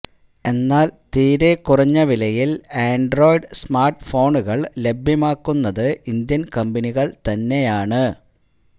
എന്നാല് തീരെ കുറഞ്ഞ വിലയില് ആന്ഡ്രോയ്ഡ് സ്മാര്ട്ഫോണുകള് ലഭ്യമാക്കുന്നത് ഇന്ത്യന് കമ്പനികള് തന്നെയാണ്